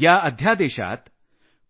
या अध्यादेशात